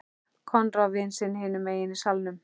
Konráð vin sinn hinum megin í salnum.